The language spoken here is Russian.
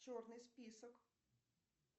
черный список